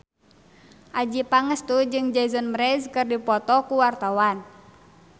Adjie Pangestu jeung Jason Mraz keur dipoto ku wartawan